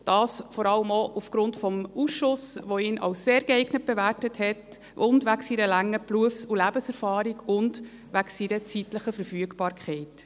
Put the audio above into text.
Das geschieht vor allem auch aufgrund des Ausschusses, der ihn als sehr geeignet bewertet hat, zudem wegen seiner langen Berufs- und Lebenserfahrung und wegen seiner zeitlichen Verfügbarkeit.